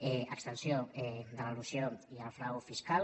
extensió de l’elusió i el frau fiscal